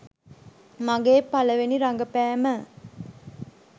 මගේ පළවෙනි රඟපෑම